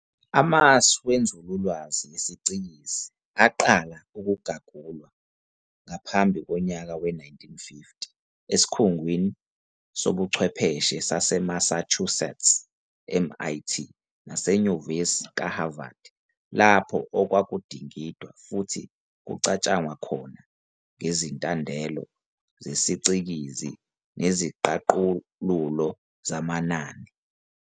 Amasu wenzululwazi yesicikizi aqala ukugagulwa ngaphambi konyaka we-1950 esikhungwini sobuchwepheshe saseMassachusetts, MIT, naseNyuvesi kaHarvard, lapho okwakudingidwa futhi kucatshangwa khona ngezintandelo zesiCikizi neziqaqululo zamanani.